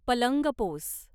पलंगपोस